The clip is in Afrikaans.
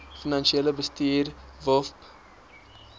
finansiële bestuur wofb